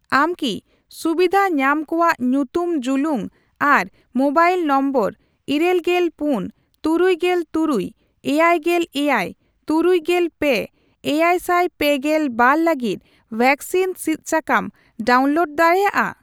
ᱟᱢ ᱠᱤ ᱥᱩᱵᱤᱫᱷᱟ ᱧᱟᱢ ᱠᱩᱣᱟᱜ ᱧᱩᱛᱩᱢ ᱡᱩᱞᱩᱝ ᱟᱨ ᱢᱚᱵᱟᱭᱤᱞ ᱱᱚᱢᱵᱚᱨ ᱤᱨᱟᱹᱞᱜᱮᱞ ᱯᱩᱱ ,ᱛᱩᱨᱩᱭᱜᱮᱞ ᱛᱩᱨᱩᱭ ,ᱮᱭᱟᱭᱜᱮᱞ ᱮᱭᱟᱭ ,ᱛᱩᱨᱩᱭᱜᱮᱞ ᱯᱮ ,ᱮᱭᱟᱭᱥᱟᱭ ᱯᱮᱜᱮᱞ ᱵᱟᱨ ᱞᱟᱹᱜᱤᱫ ᱣᱮᱠᱥᱤᱱ ᱥᱤᱫ ᱥᱟᱠᱟᱢ ᱰᱟᱣᱩᱱᱞᱳᱰ ᱫᱟᱲᱮᱭᱟᱜᱼᱟ ?